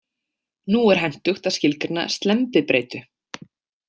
Nú er hentugt að skilgreina slembibreytu.